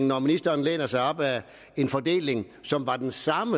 når ministeren læner sig op ad en fordeling som er den samme